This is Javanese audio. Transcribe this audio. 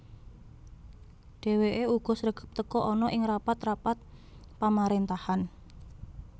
Dhèwèké uga sregep teka ana ing rapat rapat pamaréntahan